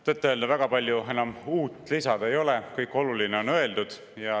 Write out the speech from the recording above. Tõtt-öelda väga palju uut enam lisada ei ole, kõik oluline on öeldud.